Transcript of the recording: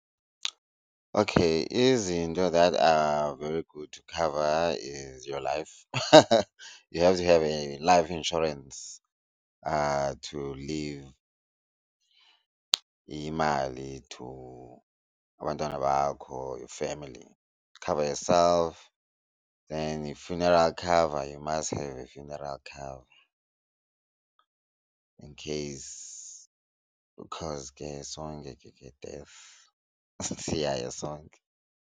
Okay izinto that are very good to cover is your, life you have to have a life insurance to leave imali to abantwana bakho, your family, cover yourself and a funeral cover, you must have a funeral cover in case because ke sonke ke death siyaya sonke.